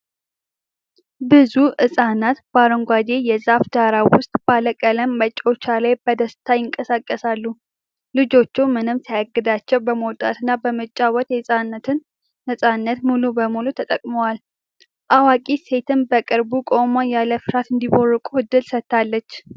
ብዙ ሕፃናት በአረንጓዴ የዛፍ ዳራ ውስጥ ባለ ቀለም መጫወቻ ላይ በደስታ ይንቀሳቀሳሉ። ልጆቹ ምንም ሳይገዳቸው በመውጣትና በመጫወት የሕፃንነትን ነፃነት ሙሉ በሙሉ ተጠቅመዋል። አዋቂ ሴትም በቅርብ ቆማ፣ ያለ ፍርሃት እንዲቦርቁ ዕድል ሰጥታለች።